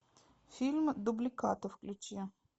фильм дубликаты включи